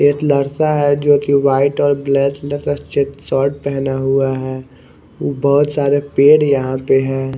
एक लड़का है जो कि व्हाइट और ब्लैक कलर का चेक शर्ट पहना हुआ है बहोत सारे पेड़ यहां पे है।